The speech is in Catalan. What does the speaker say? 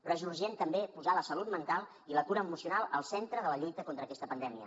però és urgent també posar la salut mental i la cura emocional al centre de la lluita contra aquesta pandèmia